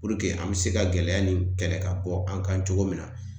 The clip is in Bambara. an be se ka gɛlɛya nin kɛlɛ ka bɔ an kan cogo min na.